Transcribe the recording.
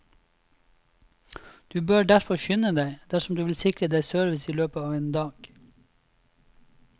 Du bør derfor skynde deg, dersom du vil sikre deg service i løpet av en dag.